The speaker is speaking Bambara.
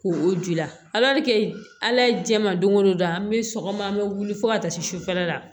K'o o ji ladi ala ye jɛman don o don an bɛ sɔgɔma an bɛ wuli fo ka taa se sufɛla la